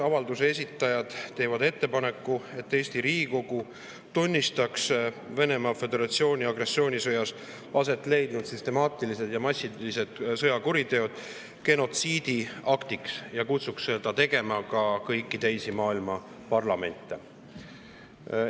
Avalduse esitajad teevad ettepaneku, et Eesti Riigikogu tunnistaks Venemaa Föderatsiooni agressioonisõjas aset leidnud süstemaatilised ja massilised sõjakuriteod genotsiidiaktiks ja kutsuks seda tegema ka kõiki teisi maailma parlamente.